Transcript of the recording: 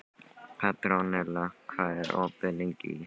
Petronella, hvað er opið lengi í HÍ?